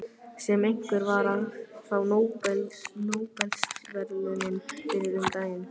Sem einhver var að fá Nóbelsverðlaunin fyrir um daginn.